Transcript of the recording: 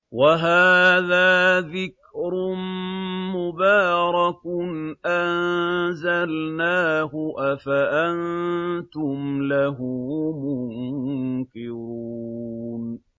وَهَٰذَا ذِكْرٌ مُّبَارَكٌ أَنزَلْنَاهُ ۚ أَفَأَنتُمْ لَهُ مُنكِرُونَ